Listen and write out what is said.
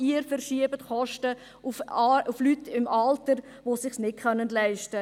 Sie verschieben Kosten auf Leute im Alter, die es sich nicht leisten können.